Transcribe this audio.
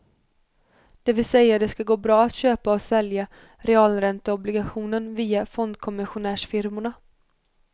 Det vill säga det ska gå bra att köpa och sälja realränteobligationen via fondkommissionärsfirmorna.